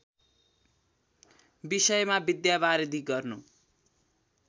विषयमा विद्यावारिधि गर्नु